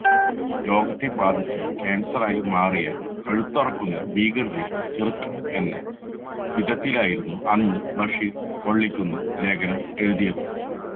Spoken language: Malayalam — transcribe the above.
ലോകത്തെ ബാധിച്ച കാൻസറായി മാറിയ കഴുത്തറക്കുന്ന ഭീകരരെ ചെറുക്കണം എന്ന വിധത്തിലായിരുന്നു അന്ന് ബഷീർ വള്ളിക്കുന്ന് ലേഖനം എഴുതിയത്